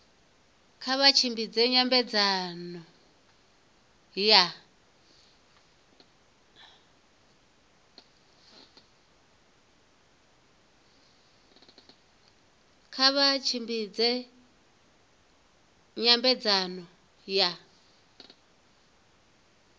kha vha tshimbidze nyambedzano ya